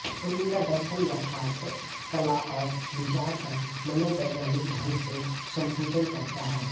उनका दर्शन यथार्थ कलाऔर विचार का मनोवैज्ञानिक ढंग से संपुजन करता है